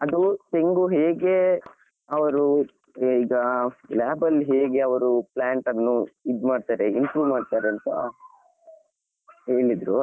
ಅದು ತೆಂಗು ಹೇಗೆ ಅವರು ಏ ಈಗ lab ಅಲ್ಲಿ ಹೇಗೆ ಅವರು plant ಅನ್ನು ಇದು ಮಾಡ್ತಾರೆ improve ಮಾಡ್ತಾರೆ ಅಂತ ಹೇಳಿದ್ರು.